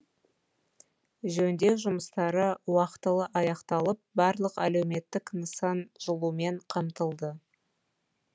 жөндеу жұмыстары уақытылы аяқталып барлық әлеуметтік нысан жылумен қамтылды